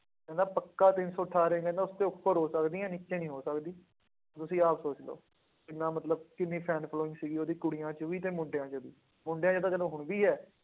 ਕਹਿੰਦਾ ਪੱਕਾ ਤਿੰਨ ਸੌ ਅਠਾਰਾਂ ਕਹਿੰਦਾ ਉਸਦੇ ਉੱਪਰ ਹੋ ਸਕਦੀਆਂ ਨੀਚੇ ਨੀ ਹੋ ਸਕਦੀ, ਤੁਸੀਂ ਆਪ ਸੋਚ ਲਓ ਕਿੰਨਾ ਮਤਲਬ ਕਿੰਨੀ fan following ਸੀਗੀ ਉਹਦੀ ਕੁੜੀਆਂ ਚ ਵੀ ਤੇ ਮੁੰਡਿਆਂ ਚ ਵੀ, ਮੁੰਡਿਆਂ ਚ ਤਾਂ ਚਲੋ ਹੁਣ ਵੀ ਹੈ।